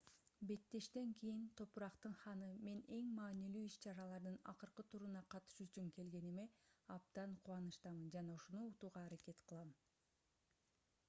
беттештен кийин топурактын ханы мен эң маанилүү иш-чаралардын акыркы туруна катышуу үчүн келгениме абдан кубанычтамын жана ушуну утууга аракет кылам